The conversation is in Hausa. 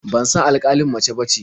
Ban san alƙalin mace bace.